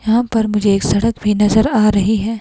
यहां पर मुझे एक सड़क भी नज़र आ रही है।